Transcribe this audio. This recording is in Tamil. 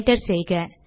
என்டர் செய்க